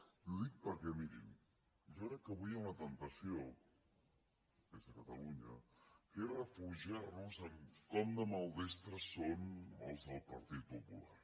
i ho dic perquè mirin jo crec que avui hi ha una temptació des de catalunya que és refugiar nos en com de maldestres són els del partit popular